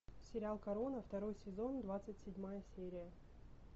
сериал корона второй сезон двадцать седьмая серия